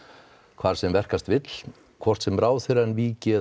hvar sem verkast vill hvort sem ráðherrann víki eða